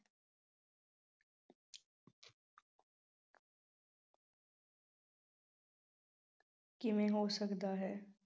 ਕਿਵੇਂ ਹੋ ਸਕਦਾ ਹੈ।